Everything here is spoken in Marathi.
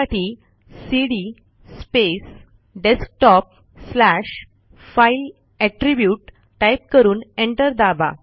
त्यासाठी cd space desktop slash file attribute type करून एंटर दाबा